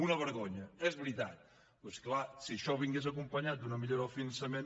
una vergonya és veritat però és clar si això vingués acompanyat d’una millora del finançament